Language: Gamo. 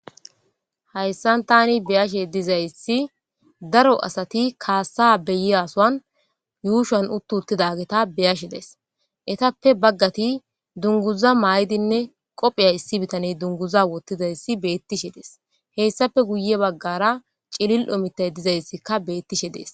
Hayssan tani beyashe dizayssi daro asati kaassa beyiasoan yuushan uttu uttidageta beyashe dees etappe baggati dunguza maaydinne qophiya issi bitaney dunguza wottidayssi beettishe des hessape guye baggara cilil omitay dizayssikka beettishe dees.